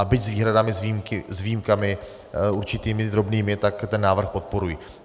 A byť s výhradami, s výjimkami určitými drobnými, tak ten návrh podporují.